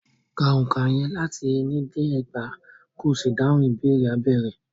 Ka òǹkà yẹn láti ení dé ẹgbàá, ko sì dáhùn ìbéèrè abẹ́ rẹ̀.